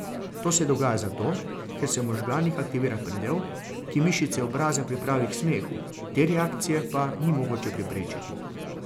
To se dogaja zato, ker se v možganih aktivira predel, ki mišice obraza pripravi k smehu, te reakcije pa ni mogoče preprečiti.